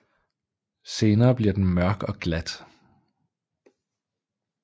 Senere bliver den mørk og glat